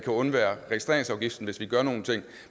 undvære registreringsafgiften hvis vi gør nogle ting